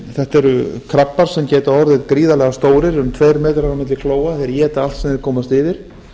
þetta eru krabba sem geta orðið gríðarlega stórir um tveir metrar á milli klóa þeir éta allt sem þeir komast yfir